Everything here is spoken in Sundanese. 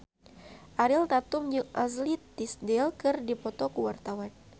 Ariel Tatum jeung Ashley Tisdale keur dipoto ku wartawan